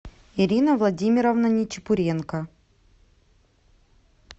ирина владимировна нечепуренко